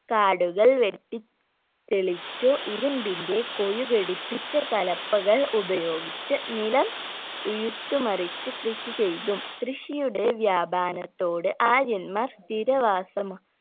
കാടുകൾ വെട്ടി തെളിച്ചു ഇരുമ്പിന്റെ കൊഴു ഘടിപ്പിച്ച കലപ്പകൾ ഉപയോഗിച്ച് നിലം ഉഴുത് മറിച്ച് കൃഷി ചെയ്‌തും കൃഷിയുടെ വ്യാപനത്തോട് ആര്യന്മാർ സ്ഥിരവസമാ